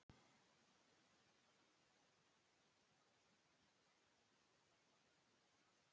Jóhann Hlíðar: Hvað heldurðu að taki við núna?